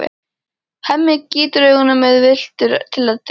Hemmi gýtur augunum ráðvilltur til Eddu.